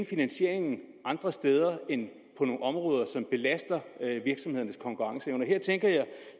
finansieringen andre steder end på nogle områder som belaster virksomhedernes konkurrenceevne her tænker jeg